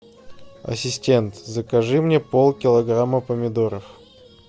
ассистент закажи мне полкилограмма помидоров